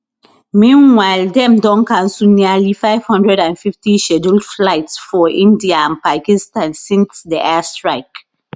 meanwhile dem don cancel nearly 550 scheduled flights for india and pakistan since di air strikes